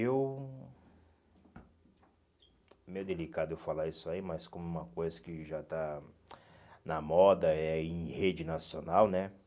Eu, é meio delicado eu falar isso aí, mas como uma coisa que já está na moda, é em rede nacional, né?